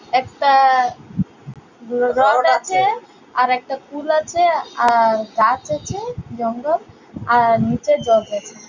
একটা আছে আর একটা পুল আছে গাছ আছে জঙ্গল আর নিচে জল আছে ।